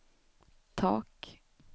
tak